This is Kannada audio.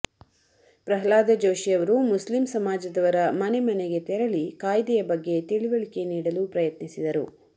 ಪ್ರಹ್ಲಾದ ಜೋಶಿ ಅವರು ಮುಸ್ಲಿಂ ಸಮಾಜದವರ ಮನೆ ಮನೆಗೆ ತೆರಳಿ ಕಾಯ್ದೆಯ ಬಗ್ಗೆ ತಿಳಿವಳಿಕೆ ನೀಡಲು ಪ್ರಯತ್ನಿಸಿದರು